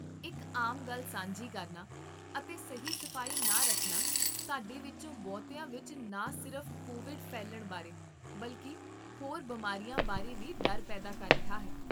ਇੱਕ ਆਮ ਗੱਲ ਸਾਂਝੀ ਕਰਨਾ ਅਤੇ ਸਹੀ ਸਫ਼ਾਈ ਨਾ ਰੱਖਣਾ ਸਾਡੇ ਵਿੱਚੋਂ ਬਹੁਤਿਆਂ ਵਿੱਚ ਨਾ ਸਿਰਫ਼ ਕੋਵਿਡ ਫੈਲਣ ਬਾਰੇ, ਬਲਕਿ ਹੋਰ ਬਿਮਾਰੀਆਂ ਬਾਰੇ ਵੀ ਡਰ ਪੈਦਾ ਕਰ ਰਿਹਾ ਹੈ